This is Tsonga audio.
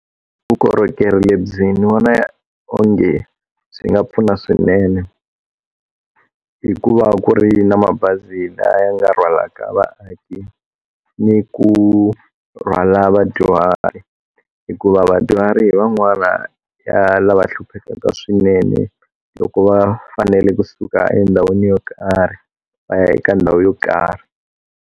Vukorhokeri lebyi ni vona onge swi nga pfuna swinene hikuva ku ri na mabazi laya ya nga rwalaka vaaki ni ku rhwala vadyuhari hikuva vadyuhari van'wana ya lava hlupheka swinene loko va fanele kusuka endhawini yo karhi va ya eka ndhawu yo karhi.